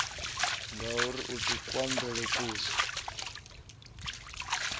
ngauri a si kumalele kuswa